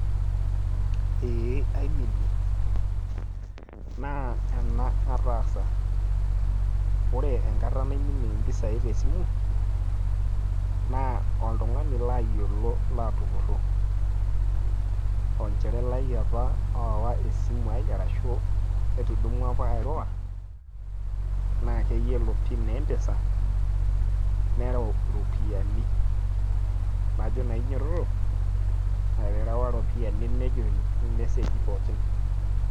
ee aiminie naa ena ataasa. ore enkata naiminie impisai te simu, naa oltungani laayiolo laatupuro, olchore lai apa loowa esimu ai ashu ketudumua ake airura naa keyiolo pin empesa nereu iropiyiani, najo naa inyiototo eterewa iropiyiani nejut irmeseji pooki.